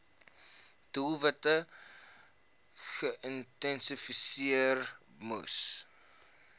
doelwitte geïdentifiseer moes